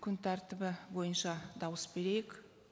күн тәртібі бойынша дауыс берейік